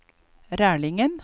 Rælingen